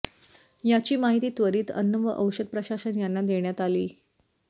याची माहिती त्वरित अन्न व औषध प्रशासन यांना देण्यात आली